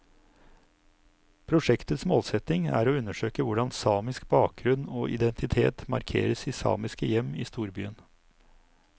Prosjektets målsetning er å undersøke hvordan samisk bakgrunn og identitet markeres i samiske hjem i storbyen.